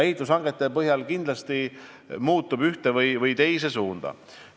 Ehitushangete põhjal muutub see kindlasti ühes või teises suunas.